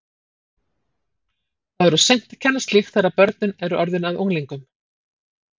Það er of seint að kenna slíkt þegar börnin eru orðin að unglingum!